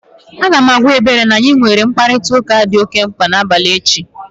Aga m agwa Ebere na anyị ga-enwe mkparịtaụka dị mkpa n'abalị echi